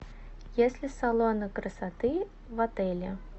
есть ли салоны красоты в отеле